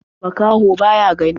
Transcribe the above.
Makaho ba ya gani.